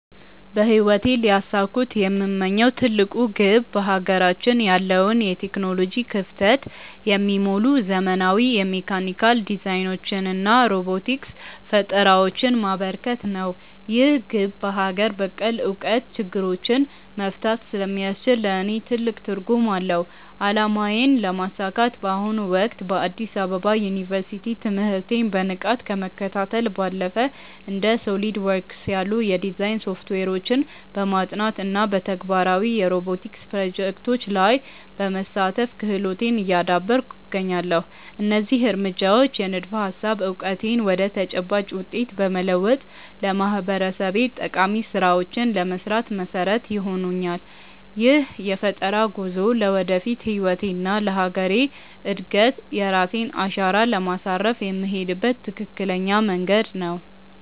በህይወቴ ሊያሳኩት የምመኘው ትልቁ ግብ በሀገራችን ያለውን የቴክኖሎጂ ክፍተት የሚሞሉ ዘመናዊ የሜካኒካል ዲዛይኖችንና ሮቦቲክስ ፈጠራዎችን ማበርከት ነው። ይህ ግብ በሀገር በቀል እውቀት ችግሮችን መፍታት ስለሚያስችል ለእኔ ትልቅ ትርጉም አለው። አላማዬን ለማሳካት በአሁኑ ወቅት በአዲስ አበባ ዩኒቨርሲቲ ትምህርቴን በንቃት ከመከታተል ባለፈ፣ እንደ SOLIDWORKS ያሉ የዲዛይን ሶፍትዌሮችን በማጥናት እና በተግባራዊ የሮቦቲክስ ፕሮጀክቶች ላይ በመሳተፍ ክህሎቴን እያዳበርኩ እገኛለሁ። እነዚህ እርምጃዎች የንድፈ-ሀሳብ እውቀቴን ወደ ተጨባጭ ውጤት በመለወጥ ለማህበረሰቤ ጠቃሚ ስራዎችን ለመስራት መሰረት ይሆኑኛል። ይህ የፈጠራ ጉዞ ለወደፊት ህይወቴና ለሀገሬ እድገት የራሴን አሻራ ለማሳረፍ የምሄድበት ትክክለኛ መንገድ ነው።